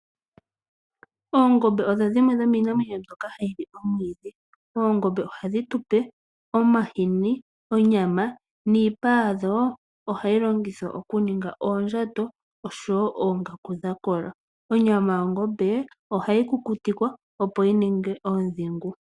Ongombe odho dhimwe dhomiitekulwanamwenyo mbyoka hayi li omwiidhi . Oongombe ohadhi tupe omahini nonyama, niipa yadho ohayi longithwa okuningwa oondjato oshowoo oongaku dha kola. Onyama yongombe ohayi kukutikwa oondhingu.